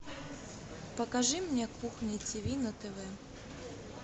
покажи мне кухня тв на тв